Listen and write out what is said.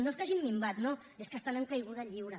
no és que hagin minvat no és que estan en caiguda lliure